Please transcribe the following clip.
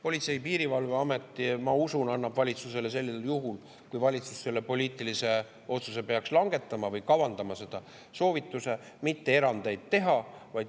Politsei‑ ja Piirivalveamet, ma usun, annab valitsusele sellisel juhul, kui valitsus selle poliitilise otsuse peaks langetama või kavandama seda, soovituse mitte erandeid teha.